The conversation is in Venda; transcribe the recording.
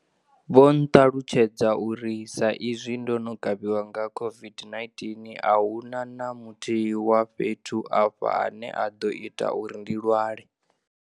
Vho nṱalutshedza uri sa i zwi ndo no kavhiwa nga COVID-19, a hu na na muthihi wa fhethu afha ane a ḓo ita uri ndi lwale.